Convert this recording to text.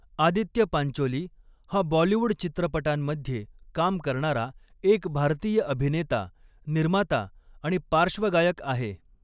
आदित्य पांचोली हा बॉलीवूड चित्रपटांमध्ये काम करणारा एक भारतीय अभिनेता, निर्माता आणि पार्श्वगायक आहे.